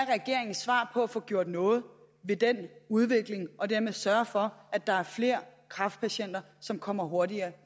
regeringens svar for at få gjort noget ved den udvikling og dermed sørge for at der er flere kræftpatienter som kommer hurtigere